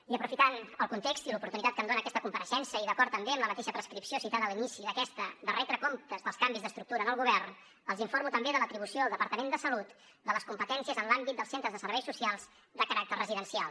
i aprofitant el context i l’oportunitat que em dona aquesta compareixença i d’acord també amb la mateixa prescripció citada a l’inici d’aquesta de retre comptes dels canvis d’estructura en el govern els informo també de l’atribució al departament de salut de les competències en l’àmbit dels centres de serveis socials de caràcter residencial